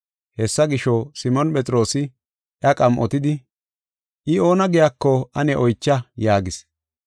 Hessa gisho, Simoon Phexroosi iya qam7otidi, “I oona giyako ane oycha” yaagis.